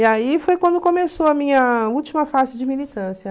E aí foi quando começou a minha última fase de militância.